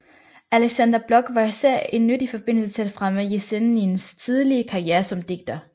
Aleksandr Blok var især en nyttigt forbindelse til fremme Jesenins tidlige karriere som digter